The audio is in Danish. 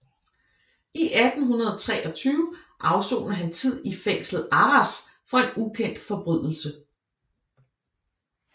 I 1823 afsoner han tid i fængslet Arras for en ukendt forbrydelse